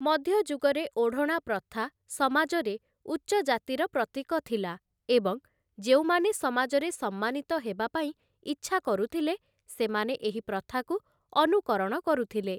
ମଧ୍ୟଯୁଗରେ ଓଢ଼ଣା ପ୍ରଥା ସମାଜରେ ଉଚ୍ଚଜାତିର ପ୍ରତୀକ ଥିଲା ଏବଂ ଯେଉଁମାନେ ସମାଜରେ ସମ୍ମାନିତ ହେବାପାଇଁ ଇଚ୍ଛାକରୁଥିଲେ ସେମାନେ ଏହି ପ୍ରଥାକୁ ଅନୁକରଣ କରୁଥିଲେ ।